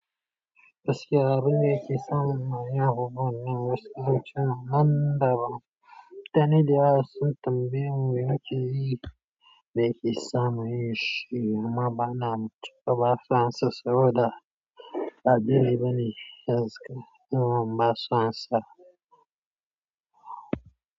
Gaskiya abin da yake samun ma ya guɓa nan wasu lokutan nan da ba. Mutane da yawa sun tambayeni me nake yi tambaya wuri wuce yii, me yake samu yi shi amma bana mutu. Baba Fransa sau da ba daidai bane irin su idan ansa masa amsa.